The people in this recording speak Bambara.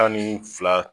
Tan ni fila